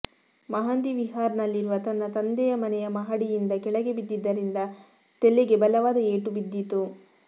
ಮಹಂದಿ ವಿಹಾರ್ ನಲ್ಲಿರುವ ತನ್ನ ತಂದೆಯ ಮನೆಯ ಮಹಡಿಯಿಂದ ಕೆಳಗೆ ಬಿದ್ದಿದ್ದರಿಂದ ತೆಲೆಗೆ ಬಲವಾದ ಏಟು ಬಿದ್ದಿತ್ತು